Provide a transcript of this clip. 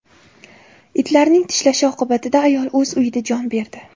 Itlarning tishlashi oqibatida ayol o‘z uyida jon berdi.